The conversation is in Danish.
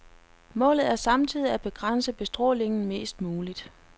Målet er samtidig at begrænse bestrålingen mest muligt.